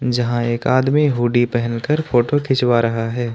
जहां एक आदमी हूडी पहनकर फोटो खिंचवा रहा है।